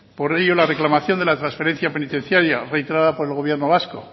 por ello la reclamación de la transferencia penitenciaria reiterada por el gobierno vasco